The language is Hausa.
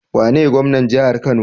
Wane gwamnan jahar kano?